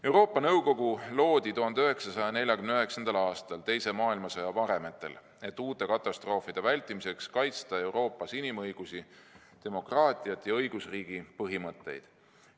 Euroopa Nõukogu loodi 1949. aastal teise maailmasõja varemetele, et uute katastroofide vältimiseks kaitsta Euroopas inimõigusi, demokraatiat ja õigusriigi põhimõtteid.